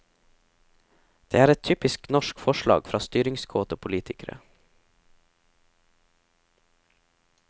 Dette er et typisk norsk forslag fra styringskåte politikere.